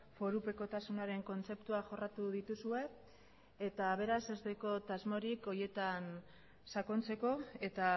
forupekotasunaren kontzeptua jorratu dituzue eta beraz ez daukat asmorik horietan sakontzeko eta